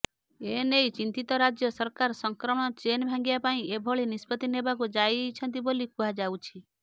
ଏନେଇ ଚିନ୍ତିତ ରାଜ୍ୟ ସରକାର ସଂକ୍ରମଣ ଚେନ୍ ଭାଙ୍ଗିବା ପାଇଁ ଏଭଳି ନିଷ୍ପତ୍ତି ନେବାକୁ ଯାଉଛନ୍ତି ବୋଲି କୁହାଯାଉଛି